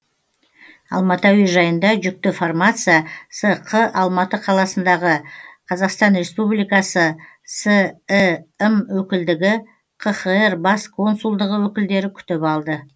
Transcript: алматы әуежайында жүкті фармация сқ алматы қаласындағы қазақстан республикасы сім өкілдігі қхр бас консулдығы өкілдері күтіп алды